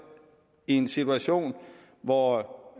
i en situation hvor